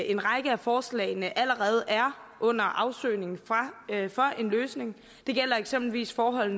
en række af forslagene allerede er under afsøgning for en løsning det gælder eksempelvis forhold